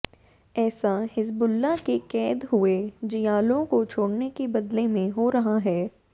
ऐसा हिज़्बुल्लाह के क़ैद हुए जियालों को छोड़ने के बदले में हो रहा है